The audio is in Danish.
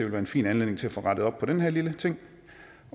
være en fin anledning til at få rettet op på den her lille ting